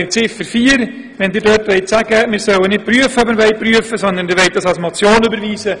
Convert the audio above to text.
Zu Ziffer vier wurde gesagt, man wolle nicht prüfen, ob man prüfen solle, sondern den Punkt als Motion überweisen.